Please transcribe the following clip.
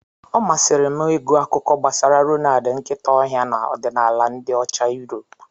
Ọ masịrị m ịgụ akuko gbasara Reynad nkịta ọhịa na ọdịnala ndị Ocha Yuropu.